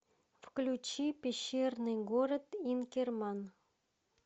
включи пещерный город инкерман